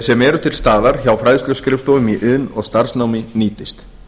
sem eru til staðar hjá fræðsluskrifstofum í iðn og starfsnámi nýtist